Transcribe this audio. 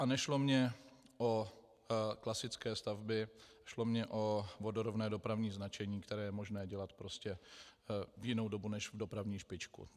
A nešlo mi o klasické stavby, šlo mi o vodorovné dopravní značení, které je možné dělat prostě v jinou dobu než v dopravní špičku.